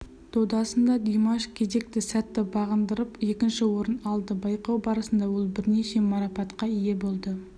додасында димаш кезеңді сәтті бағындырып екінші орын алды байқау барысында ол бірнеше марапатқа ие болды